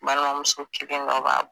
Balimamuso kelen dɔ b'a bolo.